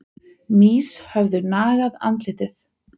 Mýs höfðu nagað andlitið.